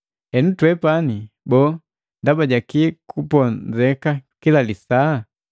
Henu twepani, boo, ndaba jakii kuponzeka kila lisaa?